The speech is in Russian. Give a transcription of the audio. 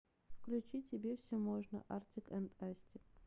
включи тебе все можно артик энд асти